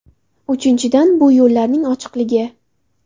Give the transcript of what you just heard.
Uchinchidan, bu yo‘llarning ochiqligi.